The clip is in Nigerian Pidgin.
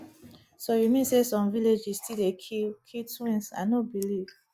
so you mean say some villages still dey kill kill twins i no believe